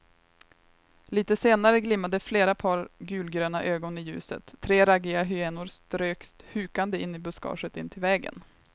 Litet senare glimmade flera par gulgröna ögon i ljuset, tre raggiga hyenor strök hukande in i buskaget intill vägen.